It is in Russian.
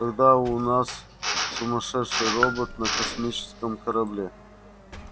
тогда у нас сумасшедший робот на космическом корабле